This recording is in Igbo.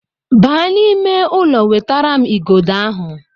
Baa n'ime ụlọ wetara m igodo ahụ!